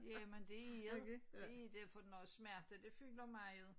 Jamen det er det det det for noget smerte det fylder meget